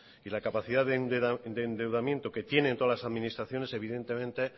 y la capacidad de endeudamiento que tienen todas las administraciones evidentemente